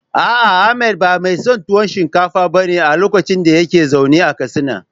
A'a Ahmad ba mai son tuwo shinkafa ba ne a lokacin da yake zaune a Katsina.